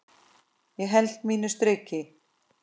Ég held mínu striki.